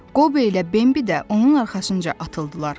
Qobo ilə Bembi də onun arxasınca atıldılar.